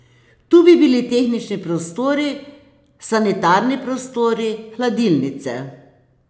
Tu bi bili tehnični prostori, sanitarni prostori, hladilnice.